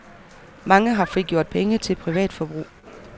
Mange har frigjort penge til privat forbrug.